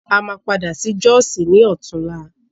A máa padà sí jọ́sì ní ọ̀túnla.